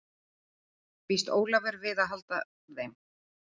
Býst Ólafur við að halda þeim?